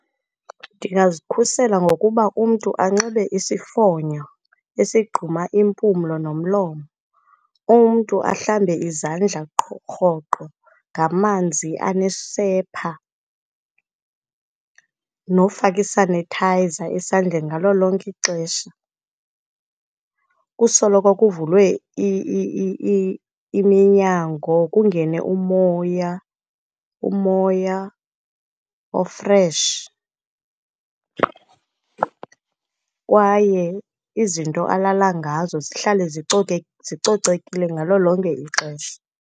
Ndingazikhusela ngokuba umntu anxibe isifonyo esigquma impumlo nomlomo, umntu ahlambe izandla qho rhoqo ngamanzi anesepha, nofaka isanethayiza esandleni ngalo lonke ixesha. Kusoloko kuvulwe iminyango, kungene umoya umoya ofresh, kwaye izinto alala ngazo zihlale zicoke zicocekile ngalo lonke ixesha.